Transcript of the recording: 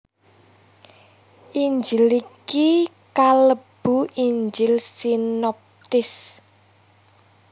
Injil iki kalebu Injil sinoptis